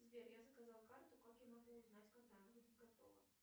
сбер я заказала карту как я могу узнать когда она будет готова